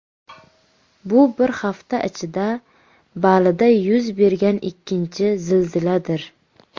Bu bir hafta ichida Balida yuz bergan ikkinchi zilziladir.